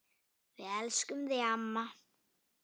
Við elskum þig, amma.